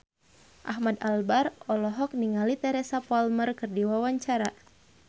Ahmad Albar olohok ningali Teresa Palmer keur diwawancara